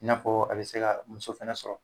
I n'a fɔɔ a bɛ se ka muso fɛnɛ sɔrɔ.